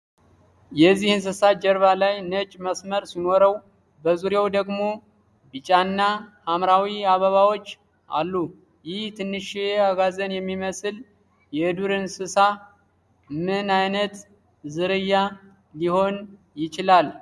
የዚህ እንስሳ ጀርባ ላይ ነጭ መስመር ሲኖረው በዙሪያው ደግሞ ቢጫና ሐምራዊ አበባዎች አሉ። ይህ ትንሽዬ አጋዘን የሚመስል የዱር እንስሳ ምን ዓይነት ዝርያ ሊሆን ይችላል?